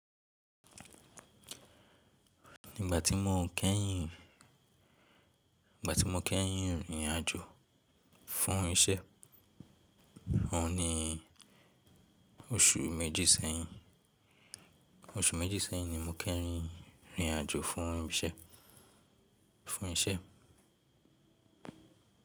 Nígbà tí mo kẹ́yìn, ìgbà tí mo kẹ́yìn rìnrìn àjò fún iṣẹ́, òun ni oṣù méjì sẹ́yìn. Oṣù méjì sẹ́yìn ni mo kẹ́yìn rìnrìn àjò fún ìṣe, fún iṣẹ́.